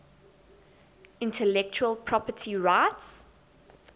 intellectual property rights